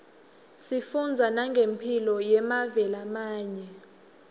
sifundza nangemphilo yemave lamanye